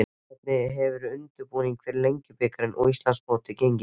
Hvernig hefur undirbúningur fyrir Lengjubikarinn og Íslandsmótið gengið?